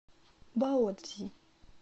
баоцзи